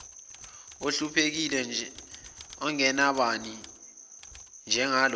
ohluphekile ongenabani njengalona